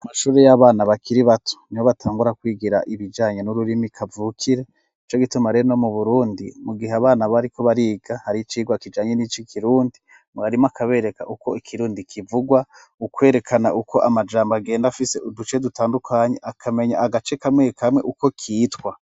Amashuri y'abana bakiri bato nibo batangura kwigira ibijanye n'ururimi kavukire ico gituma rero n'ino mu burundi mu gihe abana bari ko bariga hari icigwa kijanye n'ico kirundi mwarimo akabereka uko ikirundi kivugwa ukwerekana uko amajambo agenda afise uduce dutandukanye akamenya agace kamwe kamwe uko kitwa.